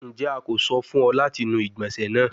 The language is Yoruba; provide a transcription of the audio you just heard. Njẹ a ko sọ fun ọ lati nu igbonse naa?